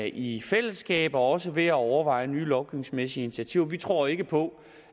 i fællesskab og også ved at overveje nye lovgivningsmæssige initiativer vi tror ikke på